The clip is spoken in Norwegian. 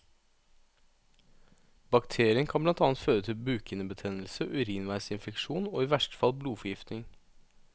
Bakterien kan blant annet føre til bukhinnebetennelse, urinveisinfeksjon og i verste fall blodforgiftning.